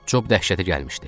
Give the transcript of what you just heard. Cob dəhşətə gəlmişdi.